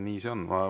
Nii see on.